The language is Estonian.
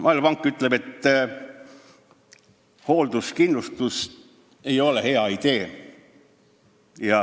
Maailmapank ütleb, et hoolduskindlustus ei ole hea idee.